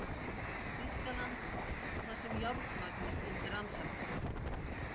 Þýskalands, þar sem járnmagnið skyldi rannsakað.